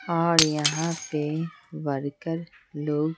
और यहां पे वर्कर लोग।